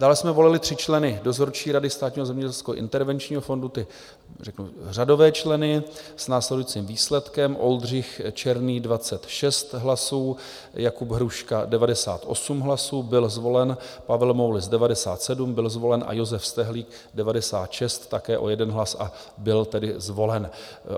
Dále jsme volili tři členy dozorčí rady Státního zemědělského intervenčního fondu, ty řeknu, řadové členy, s následujícím výsledkem: Oldřich Černý 26 hlasů, Jakub Hruška 98 hlasů, byl zvolen, Pavel Moulis 97, byl zvolen, a Josef Stehlík 96, také o jeden hlas, a byl tedy zvolen.